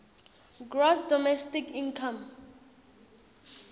gross domestic income